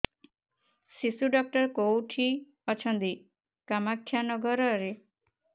ଶିଶୁ ଡକ୍ଟର କୋଉଠି ଅଛନ୍ତି କାମାକ୍ଷାନଗରରେ